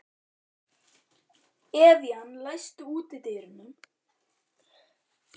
Evían, læstu útidyrunum.